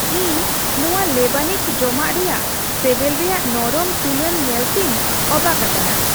ᱤᱧ ᱱᱚᱶᱟ ᱞᱮᱵᱟᱱᱤᱡ ᱡᱚᱢᱟᱜ ᱨᱮᱭᱟᱜ ᱥᱮᱵᱮᱞ ᱨᱮᱭᱟᱜ ᱱᱚᱨᱚᱢ ᱛᱩᱞᱟᱹᱱ ᱧᱮᱞᱛᱤᱧ ᱚᱵᱟᱠ ᱟᱠᱟᱱᱟ ᱾